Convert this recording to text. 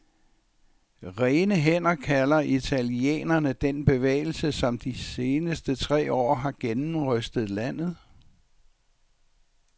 Rene hænder kalder italienerne den bevægelse, som de seneste tre år har gennemrystet landet.